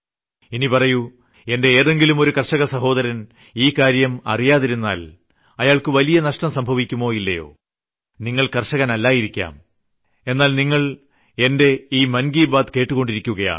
ഇനി പറയൂ എന്റെ ഏതെങ്കിലും ഒരു കർഷകസഹോദരൻ ഈ കാര്യം അറിയാതിരുന്നാൽ അയാൾക്ക് വലിയ നഷ്ടം സംഭവിക്കുമോ ഇല്ലയോ നിങ്ങൾ കർഷകനല്ലായിരിക്കാം എന്നാൽ എന്റെ മൻ കി ബാത് കേട്ടുകൊണ്ടിരിക്കുകയാണ്